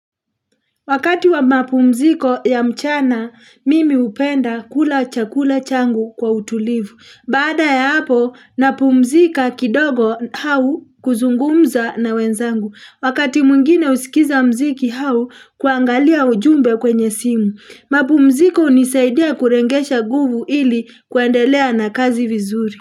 Wakati wa mapumziko ya mchana, mimi hupenda kula chakula changu kwa utulivu. Bada ya hapo, napumzika kidogo au kuzungumza na wenzangu. Wakati mwingine husikiza muziki au kuangalia ujumbe kwenye simu. Mapumziko hunisaidia kuregesha nguvu ili kuendelea na kazi vizuri.